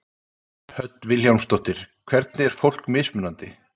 Hödd Vilhjálmsdóttir: Hvernig er fólk mismunandi?